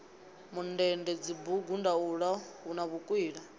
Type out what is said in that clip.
mundende dzibugu ndaula na vhukwila